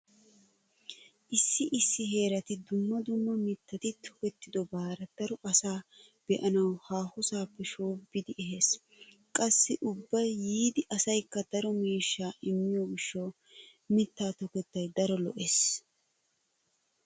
Issi issi heerati dumma dumma miittati tokettobare daro asaa be'anawu haahosaappe shoobbidi ehees. Qassi ubba yiida asaykka daro miishshaa immiyo gishshawu mittaa tokettay daro lo'ees.